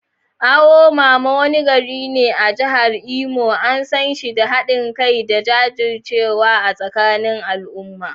Awo mama, wani gari ne a jihar Imo, an san shi da hadin kai da jajircewa a tsakanin al’umma.